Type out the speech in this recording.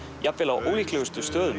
jafnvel á ólíklegustu stöðum